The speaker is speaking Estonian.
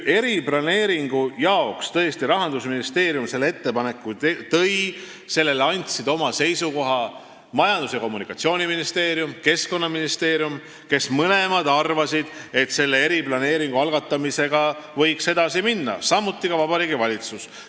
Eriplaneeringu jaoks tõesti Rahandusministeerium selle ettepaneku esitas, selle kohta andsid oma seisukoha Majandus- ja Kommunikatsiooniministeerium ja Keskkonnaministeerium, kes mõlemad arvasid, et selle eriplaneeringu algatamisega võiks edasi minna, samuti arvas nii Vabariigi Valitsus.